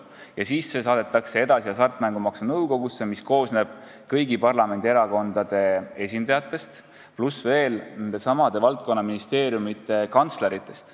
Ja edasi saadetake see Hasartmängumaksu Nõukogusse, mis koosneb kõigi parlamendierakondade esindajatest pluss veel nendesamade valdkonnaministeeriumide kantsleritest.